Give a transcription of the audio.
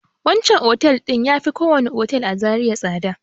Wancan otel ɗin ya fi kowane otel a Zariya tsada.